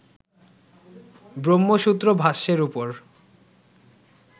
ব্রহ্মসূত্র ভাষ্যের উপর